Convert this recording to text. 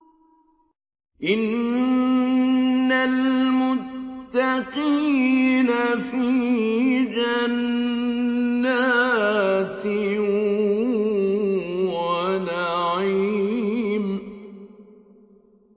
إِنَّ الْمُتَّقِينَ فِي جَنَّاتٍ وَنَعِيمٍ